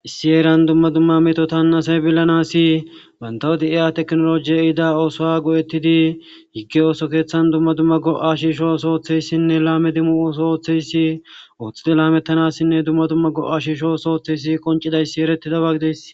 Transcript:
Issi heeran duma duma metota asay bilanasi banta de'iya tekinoloje ehida oosuwa go'etidi hiki ooso keethan duma duma go'a shiisho ooso oothiyasine laame demo ooso oothiyasi othidi laametanasine duma duma go'a shiisho oothizaysi qoncidabay eretides.